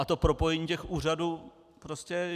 A to propojení těch úřadů prostě...